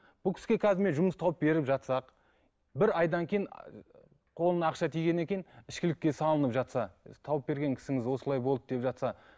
бұл кісіге қазір мен жұмыс тауып беріп жатсақ бір айдан кейін қолына ақша тигеннен кейін ішкілікке салынып жатса тауып берген кісіңіз осылай болды деп жатса